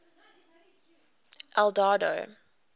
eldorado